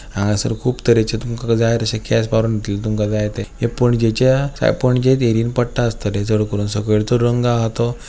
हांगासर खूप तरेचे तुमका जाय तशे केस मारुन दितले तुमका जाय ते हे पणजेच्या पणजेत एरीयेन पडता आस्तले चडकरून सकयल्चो रंग आहा तो --